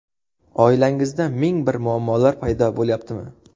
Oilangizda ming bir muammolar paydo bo‘layaptimi?